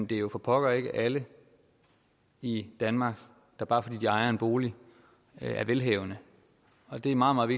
det jo for pokker ikke er alle i danmark der bare fordi de ejer en bolig er velhavende det er meget meget